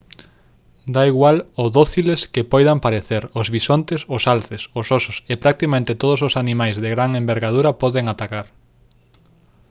dá igual o dóciles que poidan parecer os bisontes os alces os osos e practicamente todos os animais de gran envergadura poden atacar